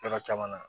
Yɔrɔ caman na